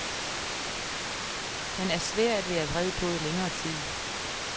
Han er svær at være vred på i længere tid.